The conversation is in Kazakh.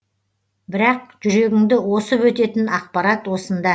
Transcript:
бірақ жүрегіңді осып өтетін ақпарат осында